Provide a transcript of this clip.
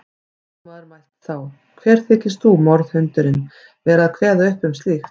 Lögmaður mælti þá: Hver þykist þú, morðhundurinn, vera að kveða upp um slíkt.